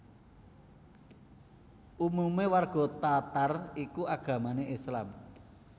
Umume warga Tatar iku agamane Islam